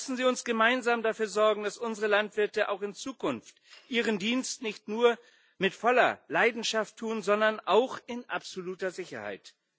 Lassen Sie uns gemeinsam dafür sorgen, dass unsere Landwirte auch in Zukunft ihren Dienst nicht nur mit voller Leidenschaft tun, sondern auch in absoluter Sicherheit!